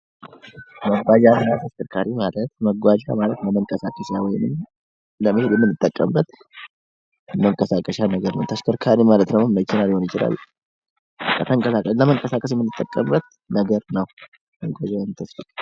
መጓጓዣ እና አሽከርካሪ ማለት፦ መጓጓዣ ማለት ለመንቀሳቀሻ ወይም ለመሄድ የምንጠቀምበት መንቀሳቀሻ ነገር ነው። ተሽከርካሪ ማለት ደግሞ መኪና ሊሆን ይችላል። ለመንቀሳቀስ የምንጠቀምበት ነገር ነው።